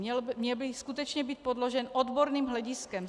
Měl by skutečně být podložen odborným hlediskem.